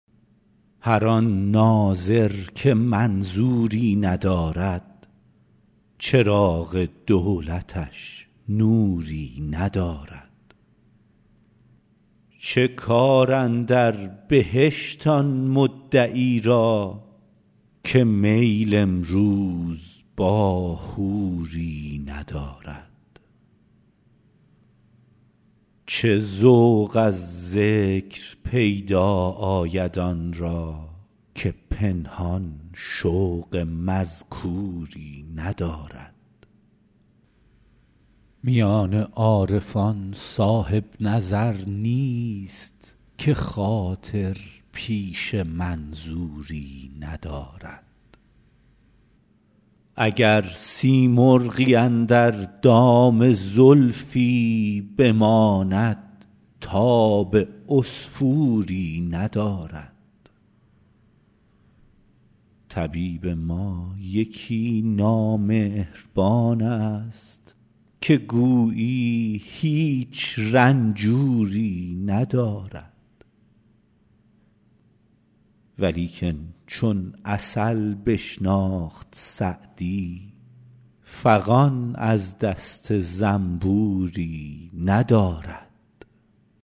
هر آن ناظر که منظوری ندارد چراغ دولتش نوری ندارد چه کار اندر بهشت آن مدعی را که میل امروز با حوری ندارد چه ذوق از ذکر پیدا آید آن را که پنهان شوق مذکوری ندارد میان عارفان صاحب نظر نیست که خاطر پیش منظوری ندارد اگر سیمرغی اندر دام زلفی بماند تاب عصفوری ندارد طبیب ما یکی نامهربان ست که گویی هیچ رنجوری ندارد ولیکن چون عسل بشناخت سعدی فغان از دست زنبوری ندارد